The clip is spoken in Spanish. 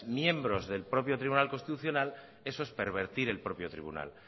miembros del propio tribunal constitucional eso es pervertir el propio tribunal